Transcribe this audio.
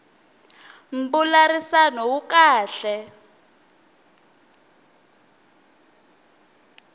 mbulavurisano wu kahle